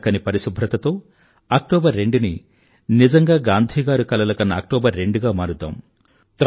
చక్కని పరిశుభ్రతతో అక్టోబర్ రెండు ని నిజంగా గాంధీగారు కలలుకన్న అక్టోబర్ రెండు గా మారుద్దాం